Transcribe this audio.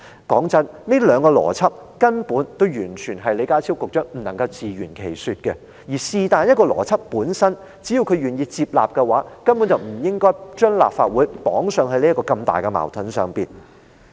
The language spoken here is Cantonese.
老實說，這兩個邏輯根本存在矛盾，李家超局長完全無法自圓其說，而只要他願意接納當中隨便一個邏輯，根本就不應該把立法會綁在這個如此巨大的矛盾中。